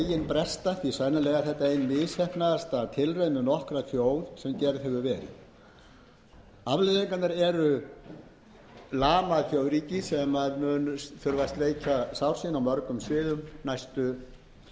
bresta því sennilega er þetta ein misheppnaðasta tilraun með nokkra þjóð sem gerð hefur verið afleiðingarnar eru nær hrunið þjóðríki sem sleikja mun sár sín